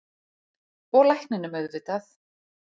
Og lækninum auðvitað.